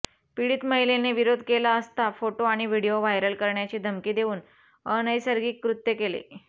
पिडीत महिलेने विरोध केला असता फोटो आणि व्हिडीओ व्हायरल करण्याची धमकी देऊन अनैसर्गिक कृत्य केले